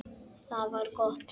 Það var gott